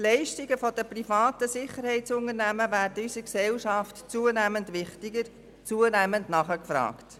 Die Leistungen der privaten Sicherheitsunternehmen werden in unserer Gesellschaft immer wichtiger und werden zunehmend nachgefragt.